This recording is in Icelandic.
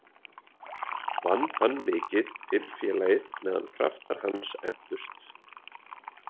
Vann hann mikið fyrir félagið meðan kraftar hans entust.